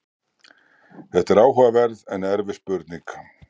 þetta er áhugaverð en erfið spurning